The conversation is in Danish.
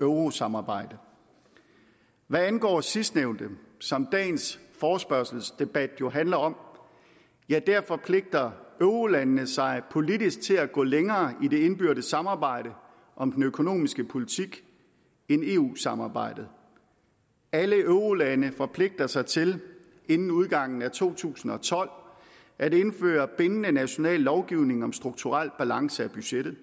eurosamarbejde hvad angår sidstnævnte som dagens forespørgselsdebat jo handler om forpligter eurolandene sig politisk til at gå længere i det indbyrdes samarbejde om den økonomiske politik end eu samarbejdet alle eurolande forpligter sig til inden udgangen af to tusind og tolv at indføre bindende national lovgivning om strukturel balance i budgettet